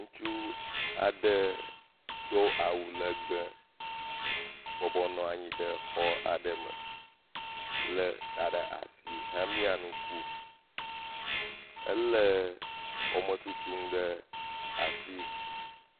Ŋutsu aɖe do awu legbe bɔbɔnɔ anyi ɖe xɔ aɖe me le xa ɖe asi hemia nuku. Ele xɔme tutum ɖe asi.